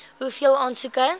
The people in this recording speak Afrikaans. hoeveel aansoeke